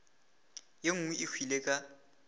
ye nngwe e hwile ka